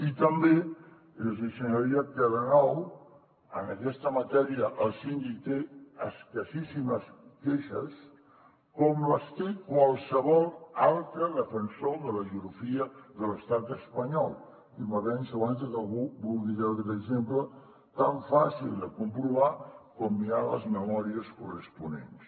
i també els hi assenyalaria que de nou en aquesta matèria el síndic té escassíssimes queixes com les té qualsevol altre defensor de la geografia de l’estat espanyol i m’avanço abans de que algú vulgui treure aquest exemple tan fàcil de comprovar com mirant les memòries corresponents